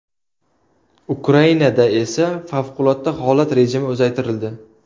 Ukrainada esa favqulodda holat rejimi uzaytirildi .